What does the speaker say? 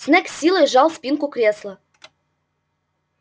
снегг с силой сжал спинку кресла